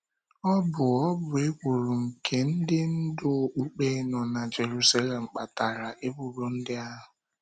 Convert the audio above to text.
Ọ bụ Ọ bụ ekworo nke ndị ndú okpukpe nọ na Jeruselem kpatara ebubo ndị ahụ.